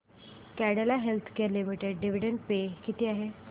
Cadila healthcare limited dividend pay किती आहे